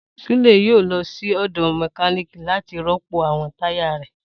Sule yoo lọ si ọdọ mekaniki lati rọpo awọn taya rẹ.